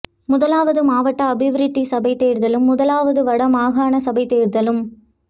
முதலாவது மாவட்ட அபிவிருத்தி சபை தேர்தலும் முதலாவது வட மாகாண சபைத் தேர்தலும்